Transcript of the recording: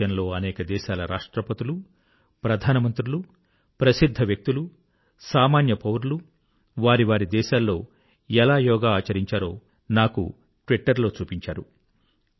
ప్రపంచంలో అనేక దేశాల రాష్ట్రపతులు ప్రధానమంత్రులు ప్రసిద్ధ వ్యక్తులు సామాన్య పౌరులు వారి వారి దేశాల్లో ఎలా యోగా ఆచరించారో నాకు ట్విట్టర్ లో చూపించారు